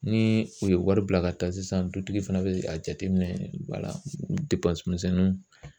Ni u ye wari bila ka taa sisan, dutigi fana bɛ a jateminɛ wala misɛnninw